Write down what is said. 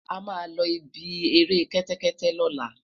ama lo ibí eré kété kété lola